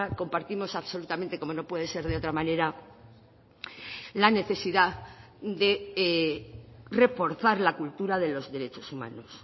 compartimos absolutamente como no puede ser de otra manera la necesidad de reforzar la cultura de los derechos humanos